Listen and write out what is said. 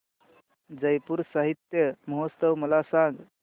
जयपुर साहित्य महोत्सव मला सांग